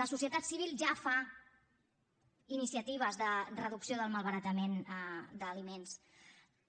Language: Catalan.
la societat civil ja fa iniciatives de reducció del malbaratament d’aliments